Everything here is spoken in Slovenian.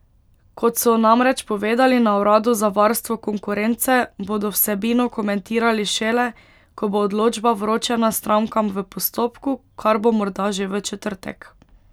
Kot so namreč povedali na uradu za varstvo konkurence, bodo vsebino komentirali šele, ko bo odločba vročena strankam v postopku, kar bo morda že v četrtek.